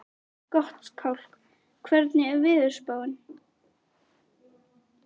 Gottskálk, hvernig er veðurspáin?